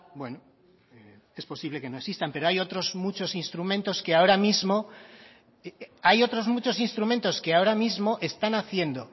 bueno es posible que no existan pero hay otros muchos instrumentos que ahora mismo hay otros muchos instrumentos que ahora mismo están haciendo